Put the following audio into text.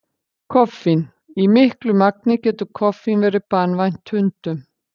Koffín: Í miklu magni getur koffín verið banvænt hundum.